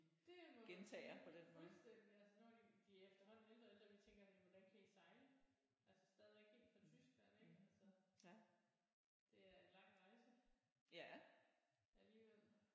Det må man sige fuldstændig altså nu er de de er efterhånden ældre og ældre vi tænker jamen hvordan kan I sejle? Altså stadigvæk helt fra Tyskland ik altså det er en lang rejse alligevel